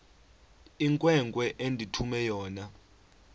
inkwenkwe endithume yona